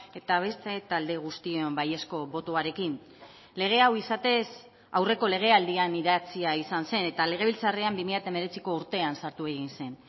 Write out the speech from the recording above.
eta beste talde guztion baiezko botoarekin lege hau izatez aurreko legealdian idatzia izan zen eta legebiltzarrean bi mila hemeretziko urtean sartu egin zen